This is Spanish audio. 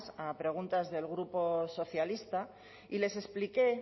a preguntas del grupo socialista y les expliqué